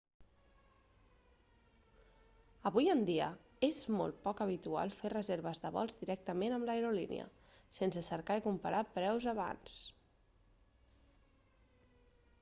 avui en dia és molt poc habitual fer reserves de vols directament amb l'aerolínia sense cercar i comparar preus abans